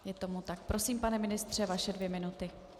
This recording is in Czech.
Je tomu tak, prosím, pane ministře, vaše dvě minuty.